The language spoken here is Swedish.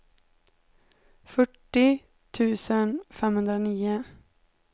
fyrtio tusen femhundranio